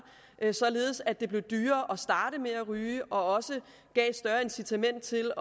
således at det blev dyrere at starte med at ryge og også gav et større incitament til